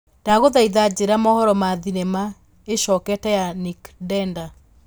ndagũthaitha njĩra mohoro ma thinema ĩcokete ya nick denda